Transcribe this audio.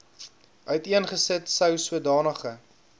uiteengesit sou sodanige